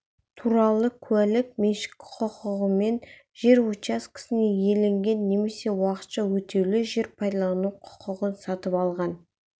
туралы куәлік меншік құқығымен жер учаскесіне иеленген немесе уақытша өтеулі жер пайдалану құқығын сатып алған